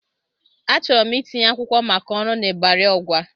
Achọrọ m itinye akwụkwọ maka ọrụ n'Ịbari Ọgwa.